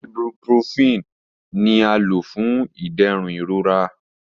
Ibuprofen ni a lo fun iderun irora.